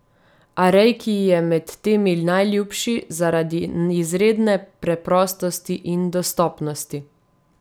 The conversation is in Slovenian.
A reiki ji je med temi najljubši zaradi izredne preprostosti in dostopnosti.